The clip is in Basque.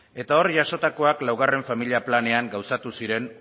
eta hor jasotakoak laugarren familia planean gauzatu ziren